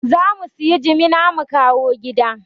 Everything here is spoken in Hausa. Za mu sayi jimana mu kawo gida